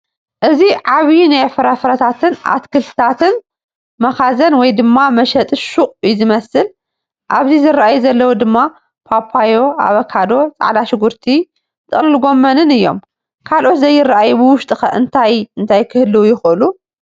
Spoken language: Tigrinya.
እዚ ዐብይ ናይ ፍራፍረታትን ኣትክልትታትን መኻዘን ወይ ድማ መሸጢ ሹቕ እዩ ዝመስል ኣብዚ ዝረኣዩ ዘለዉ ድማ ፓፓየ፣ ኣቨካዶ ፣ ፀዕዳ ሽጉርቲ ፣ ጥቕልል ጎመንን እዮም ። ካልኦት ዘይረኣዩ ብውሽጢኸ እንታይ እንታይ ክግልዉ ይኽእሉ ?